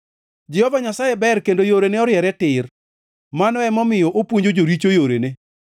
Jehova Nyasaye ber kendo yorene oriere tir; mano emomiyo opuonjo joricho yorene.